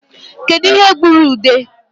Kedu ihe gburu ude?